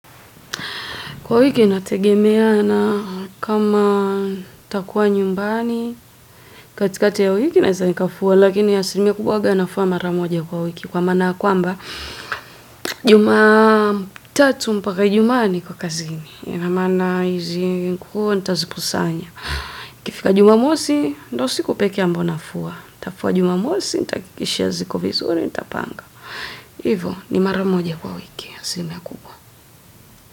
Kwa wiki nategemea na kama takuwa nyumbani, katika ya wiki naeza nikafua, lakini asinimia kubwa waga nafua mara moja kwa wiki. Kwa mana kwamba, Jumatatu mpaka ijumaa niko kazini, ina maana hizi nguo, ntazikusanya. Kifika Jumamosi, ndo siku pekee ambao nafua, ntafua Jumamosi, nitahakishia ziko vizuri, nitapanga. Hivo, ni mara moja kwa wiki asilimia kubwa.